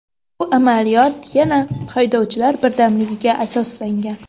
Bu amaliyot, yana haydovchilar birdamligiga asoslangan.